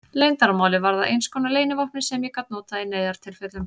Leyndarmálið varð að einskonar leynivopni sem ég gat notað í neyðartilfellum.